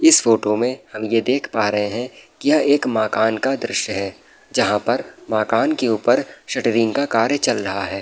इस फोटो में हम ये देख पा रहे हैं यह एक मकान का दृश्य है जहां पर मकान के ऊपर शटरिंग का कार्य चल रहा है।